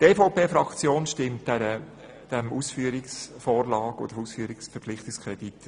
Die EVP-Fraktion stimmt dem Verpflichtungskredit zu.